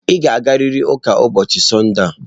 Ị ga-agarịrị ụka ụbọọchi Sọnde a.